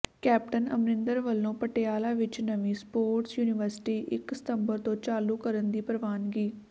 captain Amarinder ਵੱਲੋਂ ਪਟਿਆਲਾ ਵਿੱਚ ਨਵੀਂ ਸਪੋਰਟਸ ਯੂਨੀਵਰਸਿਟੀ ਇਕ ਸਤੰਬਰ ਤੋਂ ਚਾਲੂ ਕਰਨ ਦੀ ਪ੍ਰਵਾਨਗੀ